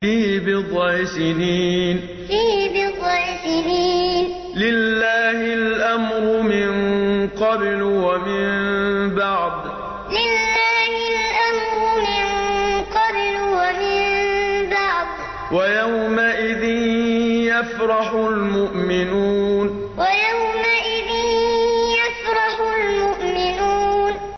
فِي بِضْعِ سِنِينَ ۗ لِلَّهِ الْأَمْرُ مِن قَبْلُ وَمِن بَعْدُ ۚ وَيَوْمَئِذٍ يَفْرَحُ الْمُؤْمِنُونَ فِي بِضْعِ سِنِينَ ۗ لِلَّهِ الْأَمْرُ مِن قَبْلُ وَمِن بَعْدُ ۚ وَيَوْمَئِذٍ يَفْرَحُ الْمُؤْمِنُونَ